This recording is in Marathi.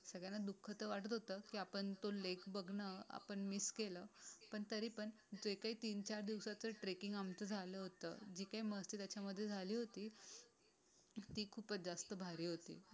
असं वाटत होतं की आपण तो लेक बघणं आपण मिस. पण तरीपण जे काही तीन चार दिवसाचे ट्रेकरस आमचं झालं होतं. जे काही मस्ती त्याच्यामध्ये झाली होती. ती खूपच जास्त भारी होती.